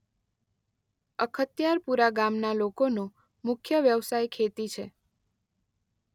અખત્યારપુરા ગામના લોકોનો મુખ્ય વ્યવસાય ખેતી છે.